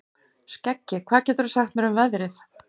Skeggi, hvað geturðu sagt mér um veðrið?